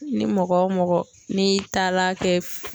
Ni mɔgɔ o mɔgɔ n'i taala kɛ.